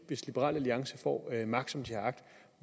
hvis liberal alliance får magt som de har agt